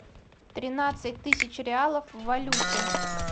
тринадцать тысяч реалов в валюте